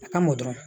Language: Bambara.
A ka mɔ dɔrɔn